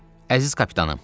Əziz kapitanım!